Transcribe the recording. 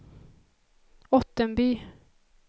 Ottenby